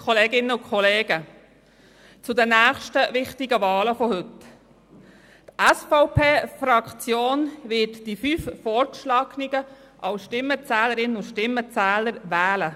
Zu den nächsten wichtigen Wahlen von heute: Die SVP-Fraktion wird die fünf als Stimmenzählerinnen und Stimmenzähler Vorgeschlagenen wählen.